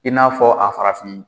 I n'a fɔ a farafin